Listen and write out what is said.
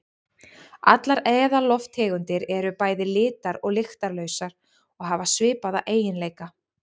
Allar eðallofttegundir eru bæði litar- og lyktarlausar og hafa svipaða eiginleika.